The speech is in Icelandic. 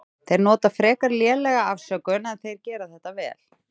Þeir nota frekar lélega afsökun en þeir gera þetta vel.